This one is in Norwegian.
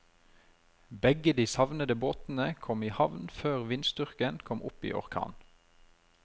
Begge de savnede båtene kom i havn før vindstyrken kom opp i orkan.